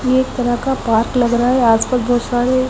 ये एक तरह का पार्क लग रहा है।